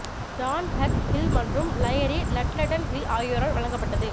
John Hugh Hill மற்றும் லயிரி லட்லெட்டன் ஹில் ஆகியோரால் வழங்கப்பட்டது